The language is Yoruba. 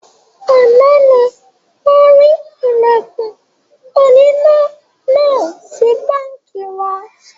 Àná ni wọn rí Ìlẹ̀kùn oníná náà sì báńkì wa